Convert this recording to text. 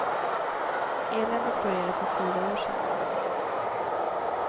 Eländet började för fyra år sedan.